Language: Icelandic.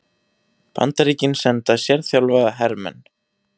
Bandaríkin senda sérþjálfaða hermenn